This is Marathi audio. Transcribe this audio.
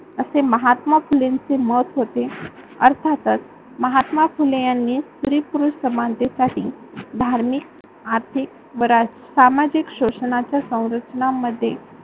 असे महत्मा फुलेंचे मत होते. अर्थातच महात्मा फुले यांनी स्त्री-पुरुष समानतेसाठी धार्मिक, आर्थिक व सामजिक शोषणाच्या संरक्षणामध्ये